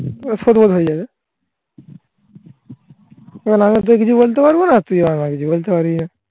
সদবদ হয়ে যাবে. এখন আমি আর তোকে কিছু বলতে পারবো না? তুই আমায় কিছু বলতে পারবি না